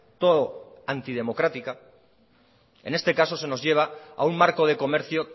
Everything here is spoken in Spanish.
todo antidemocrática en este caso se nos lleva a un marco de comercio